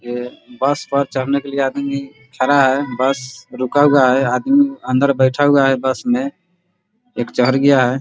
ये बस पर चढ़ने के लिए आदमी खड़ा है बस रुका हुआ है आदमी अंदर बैठा हुआ है बस में एक चहड़ गया है।